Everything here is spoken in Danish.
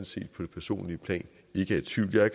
set på det personlige plan ikke er i tvivl jeg har